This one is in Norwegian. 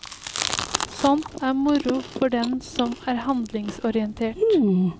Sånt er moro for den som er handlingsorientert.